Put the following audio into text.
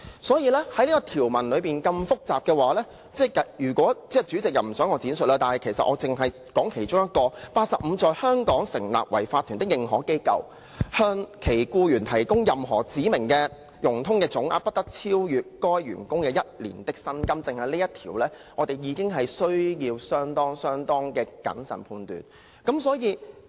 所以，這項條文內容如此複雜，代理主席不想我在此闡述，但其實我只說出其中一點，例如第85條："在香港成立為法團的認可機構向其僱員提供任何指明的融通總額，不得超逾該僱員一年的薪金"，單就這一條，我們已需要相當謹慎審議。